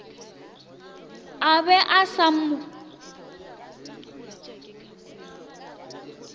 a be a sa mo